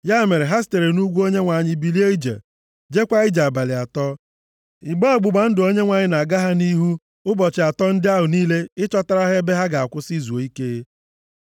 Ya mere ha sitere nʼugwu Onyenwe anyị bilie ije. Jeekwa ije abalị atọ. Igbe ọgbụgba ndụ Onyenwe anyị na-aga ha nʼihu ụbọchị atọ ndị ahụ niile ịchọtara ha ebe ha ga-akwụsị zuo ike.